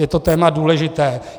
Je to téma důležité.